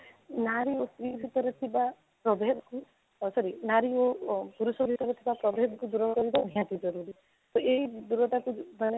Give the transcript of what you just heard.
ନାରୀ ଭିତରେ ଥିବା problem କୁ sorry ନାରୀ ଓ ପୁରୁଷ ଭିତରେ ଥିବା problem କୁ ଦୂର କରିବା ନିହାତି ଜରୁରୀ ତ ଏଇ ଦୂରତା କୁ ଧ୍ୟାନ